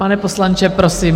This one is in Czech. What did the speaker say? Pane poslanče, prosím.